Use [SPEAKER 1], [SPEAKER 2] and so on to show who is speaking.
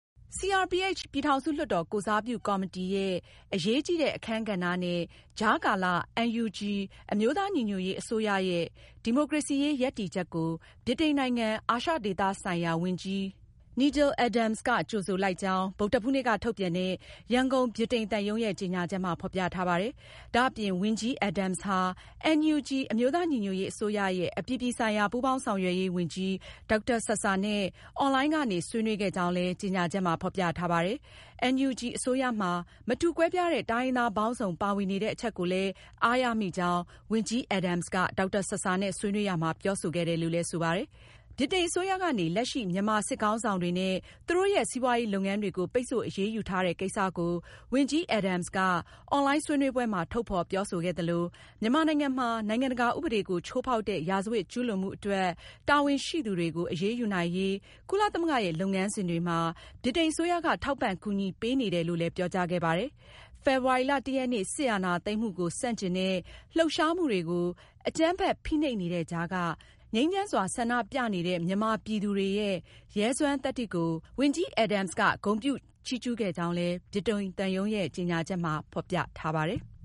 [SPEAKER 1] CRPH ပြည်ထောင်စုလွှတ်တော်ကိုယ်စားပြုကော်မတီ ရဲ့အရေးကြီးတဲ့ အခန်းကဏ္ဍနဲ့ ကြားကာလ NUG အမျိုးသာညီညွတ်ရေး အစိုးရ ရဲ့ ဒီမိုကရေစီရေး ရပ်တည်ချက်ကို ဗြိတိန်နိုင်ငံ အာရှဒေသဆိုင်ရာဝန်ကြီး Nigel Adams က ကြိုဆိုလိုက်ကြောင်း ဗုဒ္ဓဟူးနေ့က ထုတ်ပြန်တဲ့ ရန်ကုန် ဗြိတိန်သံရုံးရဲ့ ကြေညာချက်မှာ ဖေါ်ပြထားပါတယ်။ ဒါအပြင် ဝန်ကြီး Adams ဟာ NUG အမျိုးသားညီညွတ်ရေးအစိုးရရဲ့ အပြည်ပြည်ဆိုင်ရာ ပူးပေါင်းဆောင်ရွက်ရေးဝန်ကြီး ဒေါက်တာဆာဆာနဲ့ အွန်လိုင်းကနေ ဆွေးနွေးခဲ့ကြောင်းလည်း ကြေညာချက်မှာ ဖေါ်ပြထားပါတယ်။ NUG အစိုးရမှာ မတူကွဲပြားတဲ့ တိုင်းရင်းသားပေါင်းစုံပါဝင်နေတဲ့အချက်ကိုလည်း အားရမိကြောင်း ဝန်ကြီး Adams က ဒေါက်တာဆာဆာနဲ့ ဆွေးနွေးရာမှာ ပြောဆိုခဲ့တယ်လို့လည်း ဆိုပါတယ်။ ဗြိတိန်အစိုးရကနေ လက်ရှိ မြန်မာစစ်ခေါင်းဆောင်တွေနဲ့ သူတို့ရဲ့ စီးပွားရေးလုပ်ငန်းတွေကို ပိတ်ဆို့အရေးယူထားတဲ့ကိစ္စကို ဝန်ကြီး Adams က အွန်လိုင်းဆွေးနွေးပွဲမှာ ထုတ်ဖေါ်ပြောဆိုခဲ့သလို၊ မြန်မာနိုင်ငံမှာ နိုင်ငံတကာဥပဒေကို ချိုးဖောက်တဲ့ ရာဇဝတ်ကျူးလွန်မှုအတွက် တာဝန်ရှိသူတွေကို အရေးယူနိုင်ရေး ကုလသမဂ္ဂရဲ့ လုပ်ငန်းစဉ်တွေမှာ ဗြိတိန်အစိုးရက ထောက်ပံ့ကူညီပေးနေတယ်လို့ လည်း ပြောကြားခဲ့ပါတယ်။ ဖေဖေါ်ဝါရီလ (၁)ရက်နေ့ စစ်အာဏာသိမ်းမှုကို ဆန့်ကျင်တဲ့လှုပ်ရှားမှုတွေကို အကြမ်းဖက် ဖိနှိပ်နေတဲ့ကြားက ငြိမ်းချမ်းစွာဆန္ဒပြနေသူတွေရဲ့ ရဲစွမ်းသတ္တိကို ဝန်ကြီး Adams က ဂုဏ်ပြုချီးကျူးခဲ့ကြောင်းလည်း ဗြိတိန်သံရုံးရဲ့ ကြေညာချက်မှာ ဖေါ်ပြထားပါတယ်။